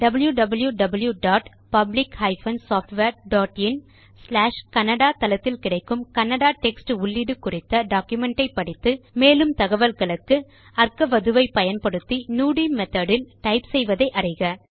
wwwPublic SoftwareinKannada தளத்தில் கிடைக்கும் Kannada text உள்ளீடு குறித்த டாக்குமென்ட் ஐ படித்து மேற்கொண்டு தகவல்களுக்கும் அற்கவது ஐ பயன்படுத்தி நுடி மெத்தோட் இல் டைப் செய்வதை அறிக